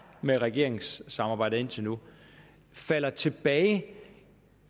med regeringssamarbejdet indtil nu falder tilbage